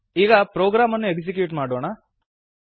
ಈಗ ಪ್ರೊಗ್ರಾಮ್ ಅನ್ನು ಎಕ್ಸಿಕ್ಯೂಟ್ ಮಾಡೋಣ